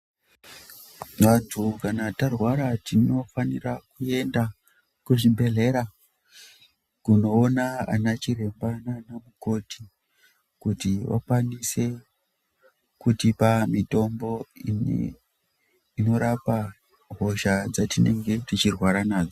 Vantu kana tarwara, tinofanira kuenda kuzvibhedhlera, kunoo vanachiremba naanamukoti, kuti vakwanise kutipa mitombo, inorapa hosha dzatinenge techirwara nadzo.